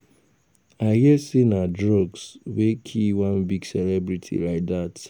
I hear say na drugs wey kill one big celebrity like dat